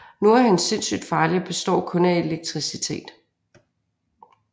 Nu er han sindssygt farlig og består kun af elektricitet